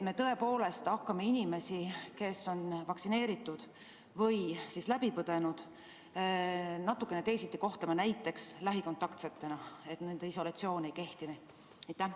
Kas me hakkame inimesi, kes on vaktsineeritud või selle haiguse läbi põdenud, natukene teisiti kohtlema, näiteks lähikontaksetena, ja nendele isolatsiooninõue ei kehti?